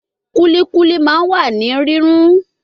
Kulikuli ma wa ni rirun